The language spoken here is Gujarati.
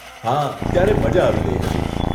હા, ત્યારે મઝા આવી ગઇ હતી.